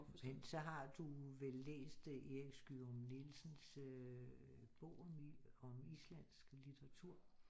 Men så har du vel læst Erim Skyum-Nielsens øh bog om islandsk litteratur?